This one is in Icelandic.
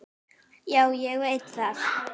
Já, ég veit það!